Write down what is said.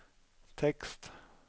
tekst